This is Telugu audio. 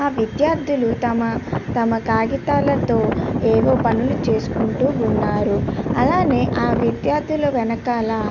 ఆ విద్యార్థులు తమ తమ కాగితాలతో ఏవో పనులు చేసుకుంటు ఉన్నారు. అలాగే ఆ విద్యార్థులు వెనకాల --